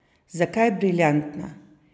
Zakaj briljantna?